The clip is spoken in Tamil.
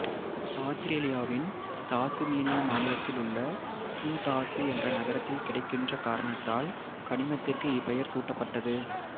ஆத்திரேலியாவின் தாசுமேனியா மாநிலத்திலுள்ள துந்தாசு என்ற நகரத்தில் கிடைக்கின்ற காரணத்தால் கனிமத்திற்கு இப்பெயர் சூட்டப்பட்டது